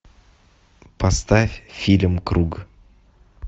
поставь фильм круг